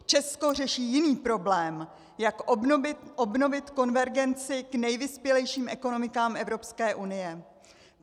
Česko řeší jiný problém - jak obnovit konvergenci k nejvyspělejším ekonomikám Evropské unie.